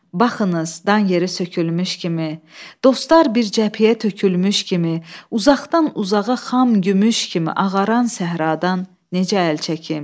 Baxınız, dan yeri sökülmüş kimi, dostlar bir cəbhəyə tökülmüş kimi, uzaqdan uzağa xam gümüş kimi ağaran səhradan necə əl çəkim?